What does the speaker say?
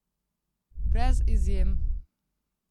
Brez izjem!